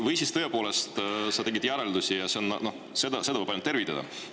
Või siis tõepoolest sa tegid järeldusi, mida võib ainult tervitada.